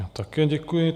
Já také děkuji.